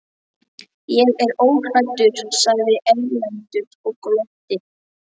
Ég er óhræddur, sagði Erlendur og glotti.